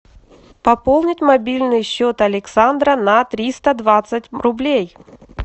пополнить мобильный счет александра на триста двадцать рублей